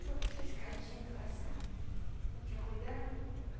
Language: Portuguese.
Tinha tinha uma escadinha para passar, não tinha cuidado.